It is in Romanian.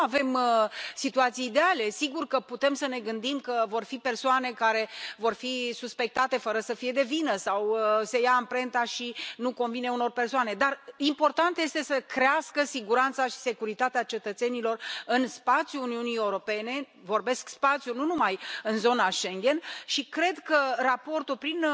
Nu avem situații ideale sigur că putem să ne gândim că vor fi persoane care vor fi suspectate fără să fie de vină sau se ia amprenta și nu convine unor persoane dar important este să crească siguranța și securitatea cetățenilor în spațiul Uniunii Europene vorbesc spațiul, nu numai în zona Schengen și cred că raportul, prin